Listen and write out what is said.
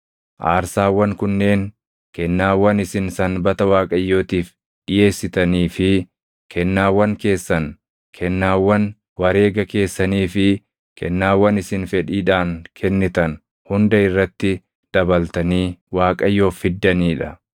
Aarsaawwan kunneen kennaawwan isin Sanbata Waaqayyootiif dhiʼeessitanii fi kennaawwan keessan, kennaawwan wareega keessanii fi kennaawwan isin fedhiidhaan kennitan hunda irratti dabaltanii Waaqayyoof fiddanii dha.